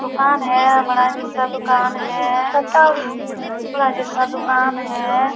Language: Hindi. दुकान है। बड़ा जैसा दुकान है। बड़ा जैसा दुकान है।